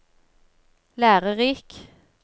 lærerik